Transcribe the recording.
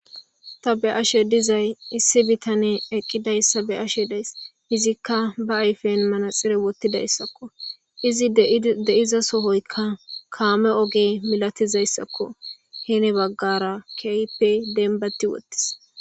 Ta be ashe dizay issi bitane eqqidayssa be ashe days izikka ba ayfen manaxire wottidayssakko izi de7iza sohoykka kaame oge milatizayssakko hene baggara keype denbati wottis.